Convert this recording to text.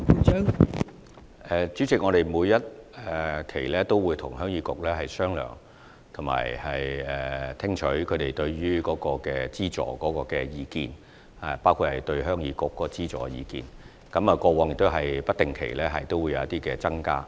代理主席，我們會定期與鄉議局商量及聽取他們對於資助的意見，而過往亦曾在資助金額有不定期的增加。